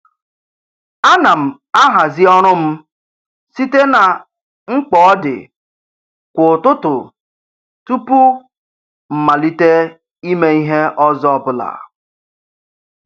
A na m ahazi ọrụ m site na mkpa ọdị kwa ụtụtụ tụpụ mmalite ime ihe ọzọ ọbụla.